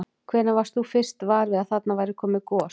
Hvenær varst þú fyrst var við að þarna væri komið gos?